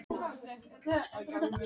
Það er nú í þeirra höndum.